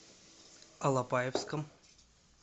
алапаевском